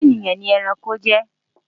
ọrẹ ènìyàn ní ẹranko jẹ